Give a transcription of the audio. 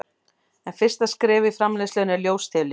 en fyrsta skref í framleiðslunni er ljóstillífun